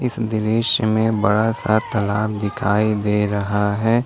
इस दृश्य में बड़ा सा तालाब दिखाई दे रहा है।